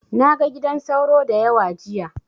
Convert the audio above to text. Na ga gidan sauro da yawa jiya.